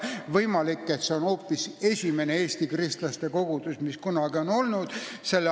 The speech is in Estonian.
Võimalik, et seal oli esimene Eesti kristlaste kogudus, mis kunagi oli.